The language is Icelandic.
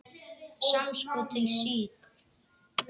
Samskot til SÍK.